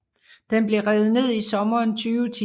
Den blev revet ned i sommeren 2010